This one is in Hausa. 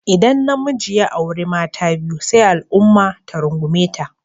Idan namiji ya auri mata biyu sai al'umma ta rungume ta.